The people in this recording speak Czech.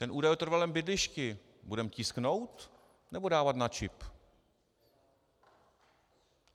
Ten údaj o trvalém bydlišti - budeme tisknout, nebo dávat na čip?